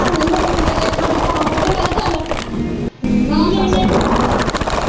ਹੈਨੀ ਹੀ ਓਦਣ ਮੁੰਡੇ ਦੇ ਅੱਖਾਂ ਚ ਪਾਉਣ ਨੂੰ ਤੇ ਮੈ ਕਿਹਾ ਚਲ ਪੀ ਲੈਣੇ।